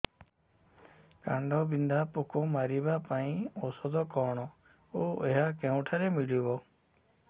କାଣ୍ଡବିନ୍ଧା ପୋକ ମାରିବା ପାଇଁ ଔଷଧ କଣ ଓ ଏହା କେଉଁଠାରୁ ମିଳିବ